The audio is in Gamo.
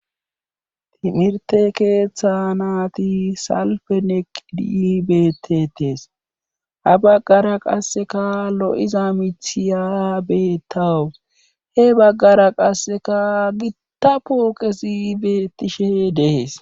timirte keeththa naati salfe neq dibetetees ha baggara qasseka lo7iza mithiya betawu he baggara qasseka gittapo kesi bettishe dehees